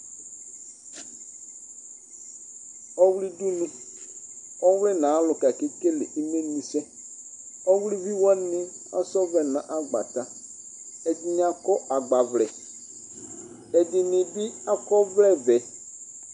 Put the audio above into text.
Ɔwli dunu Ɔwli nʋ ayʋ alʋka ni ake kele imlenyi sɛ Ɔwlivi wani asa ɔvlɛ nʋ agbata, ɛdini akɔ agbavlɛ Ɛdini bɩ akɔ ɔvlɛvɛ